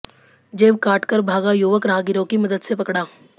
जेब काट कर भागा युवक राहगीरों की मदद से पकड़ा